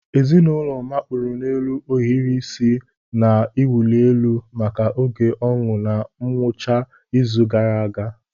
Ezinụlọ mapụrụ n'elu ohiri isi na-awụli elu maka oge ọñụ na ngwụcha izu ụka gara aga.